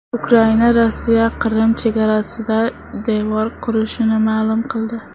Ukraina Rossiya Qrim chegarasida devor qurishini ma’lum qildi.